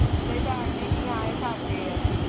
ਝਾੜਨੇ ਕਿ ਹਾਂ ਇਹ ਸਾਡੇ ਐ